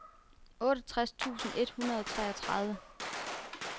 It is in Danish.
otteogtres tusind et hundrede og treogtredive